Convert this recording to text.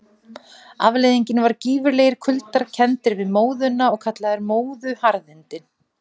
Afleiðingin var gífurlegir kuldar, kenndir við móðuna og kallaðir móðuharðindi.